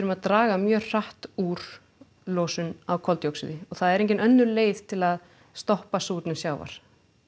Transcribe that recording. að draga mjög hratt úr losun á koldíoxíði og það er engin önnur leið til að stoppa súrnun sjávar